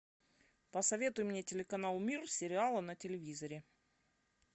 посоветуй мне телеканал мир сериала на телевизоре